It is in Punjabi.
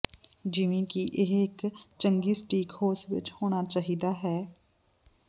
ਜਿਵੇਂ ਕਿ ਇਹ ਇੱਕ ਚੰਗੀ ਸਟੀਕ ਹਾਊਸ ਵਿੱਚ ਹੋਣਾ ਚਾਹੀਦਾ ਹੈ